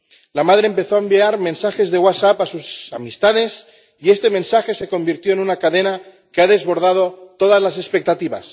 La madre empezó a enviar mensajes de a sus amistades y este mensaje se convirtió en una cadena que ha desbordado todas las expectativas.